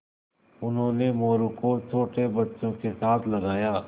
उन्होंने मोरू को छोटे बच्चों के साथ लगाया